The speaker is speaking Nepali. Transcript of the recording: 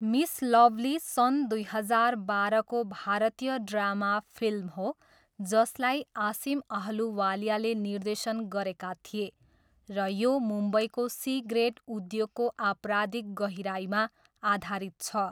मिस लभली सन् दुई हजार बाह्रको भारतीय ड्रामा फिल्म हो जसलाई आसिम अहलुवालियाले निर्देशन गरेका थिए र यो मुम्बईको सी ग्रेड उद्योगको आपराधिक गहिराइमा आधारित छ।